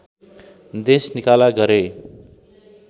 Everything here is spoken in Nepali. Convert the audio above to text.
देश निकाला गरे